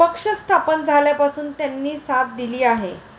पक्ष स्थापन झाल्यापासून त्यांनी साथ दिली आहे.